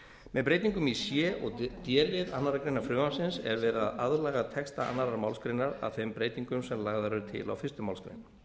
með breytingum í c og d lið annarrar greinar frumvarpsins er verið að aðlaga texta annarri málsgrein að þeim breytingum sem lagðar eru til á fyrstu málsgrein